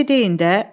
Bir şey deyin də.